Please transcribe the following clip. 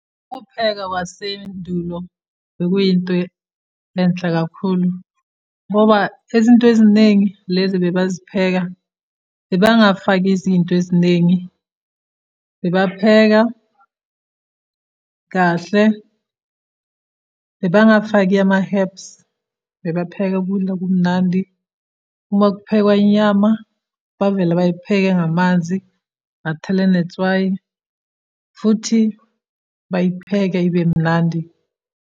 Ukupheka kwasendulo, bekuyinto enhle kakhulu, ngoba izinto eziningi lezi ebebazipheka, bebangafaki izinto eziningi. Bebapheka kahle, bebangafaki ama-herbs, bebapheka ukudla okumnandi. Uma kuphekwa inyama, bavela bayipheka ngamanzi, bathele netswayi, futhi bayipheke ibe mnandi.